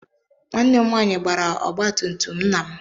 Nwanne m nwaanyị gbaara ọgba tum tum nna m.